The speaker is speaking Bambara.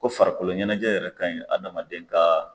Ko farikolo ɲɛnajɛ yɛrɛ kaɲi adamadenka.